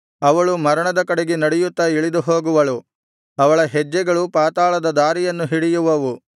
ಅವಳು ಮರಣದ ಕಡೆಗೆ ನಡೆಯುತ್ತಾ ಇಳಿದು ಹೋಗುವಳು ಅವಳ ಹೆಜ್ಜೆಗಳು ಪಾತಾಳದ ದಾರಿಯನ್ನು ಹಿಡಿಯುವವು